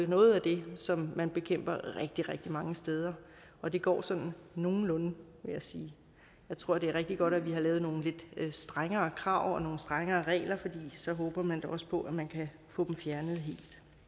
noget af det som man bekæmper rigtig rigtig mange steder og det går sådan nogenlunde vil jeg sige jeg tror det er rigtig godt at vi har lavet nogle lidt strengere krav og nogle strengere regler for så håber man da også på at man kan få dem fjernet helt